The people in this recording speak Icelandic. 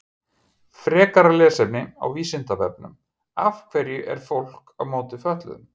Frekara lesefni á Vísindavefnum Af hverju er fólk á móti fötluðum?